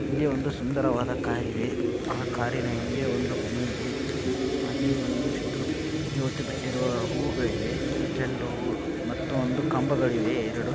ಇಲ್ಲಿ ಒಂದು ಸುಂದರವಾದ್ ಕಾರ್ ಇದೆ ಒಂದು ಸುಂದರವಾದ ಮನೆ ಇದೆ ಹಾಗು ಕಂಬ ಇದೆ.